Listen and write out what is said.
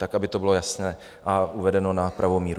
Tak aby to bylo jasné a uvedeno na pravou míru.